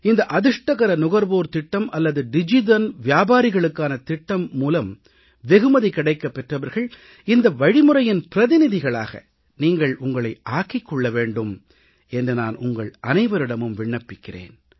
இந்த அதிர்ஷ்டகர நுகர்வோர் திட்டம் அல்லது டிஜிதன் விபாரிகளுக்கான திட்டத்தின் மூலம் வெகுமதி கிடைக்கப் பெற்றவர்கள் இந்த வழிமுறையின் பிரதிநிதிகளாக நீங்கள் உங்களை ஆக்கிக் கொள்ள வேண்டும் என்று நான் உங்கள் அனைவரிடமும் விண்ணப்பிக்கிறேன்